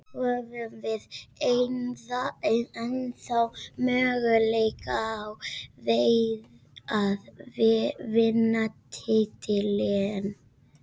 Höfum við ennþá möguleika á því að vinna titilinn?